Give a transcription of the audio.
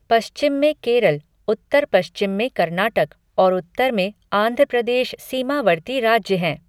पश्चिम में केरल, उत्तर पश्चिम में कर्नाटक और उत्तर में आंध्र प्रदेश सीमावर्ती राज्य हैं।